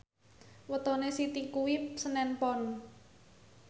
wetone Siti kuwi senen Pon